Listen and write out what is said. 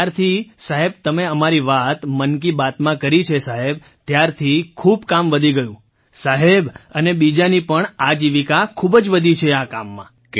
જ્યારથી સાહેબ તમે અમારી વાત મન કી બાતમાં કરી સાહેબ ત્યારથી ખૂબ કામ વધી ગયું સાહેબ અને બીજાની પણ આજીવિકા ખૂબ જ વધી છે આ કામમાં